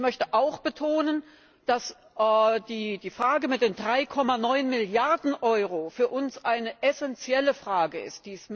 Ich möchte auch betonen, dass die Frage mit den 3,9 Milliarden Euro für uns eine essenzielle Frage ist.